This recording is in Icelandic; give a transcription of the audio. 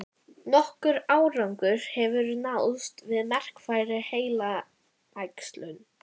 Maukið súpuna í matvinnsluvél eða með töfrasprota.